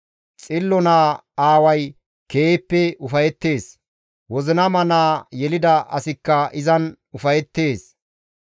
Xillo naa aaway keehippe ufayettees; wozinama naa yelida asikka izan ufayettees.